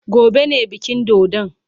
Gobe ne bikin dodon.